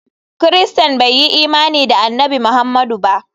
Christains bai yi imani da Annabi Muhammadu ba.